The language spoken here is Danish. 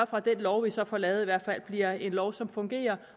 for at den lov vi så får lavet i hvert fald bliver en lov som fungerer